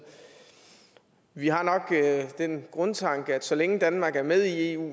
vi har nok den grundtanke at så længe danmark er med i eu